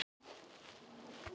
En við eigum bara þrjú.